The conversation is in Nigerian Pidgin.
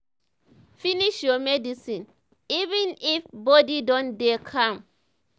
finish your medicine even if um body don dey calm.